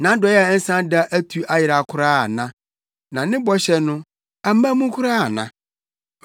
Nʼadɔe a ɛnsa da atu ayera koraa ana? Na ne bɔhyɛ no, amma mu koraa ana?